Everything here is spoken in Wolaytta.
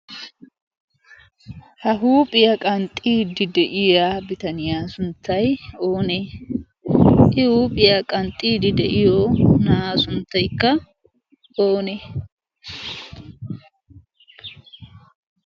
ha huuphiyaa qanxxiidi de7iya bitaniyaa sunttai oonee? i huuphiyaa qanxxiidi de7iyo na7aa sunttaikka oonee?